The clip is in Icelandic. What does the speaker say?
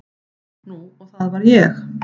Nú og það var ég.